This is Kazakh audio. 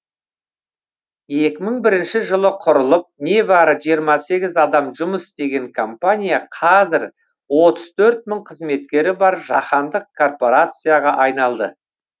екі мың бірінші жылы құрылып небәрі жиырма сегіз адам жұмыс істеген компания қазір отыз төрт мың қызметкері бар жаһандық корпорацияға айналды